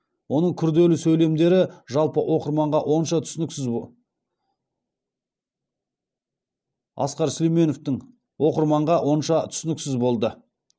оның күрделі сөйлемдері жалпы оқырманға онша түсініксіз болды